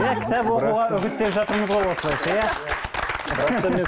иә кітап оқуға үгіттеп жатырмыз ғой осылайша иә